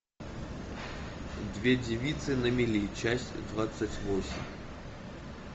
две девицы на мели часть двадцать восемь